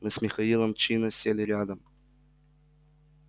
мы с михаилом чинно сели рядом